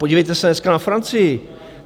Podívejte se dneska na Francii.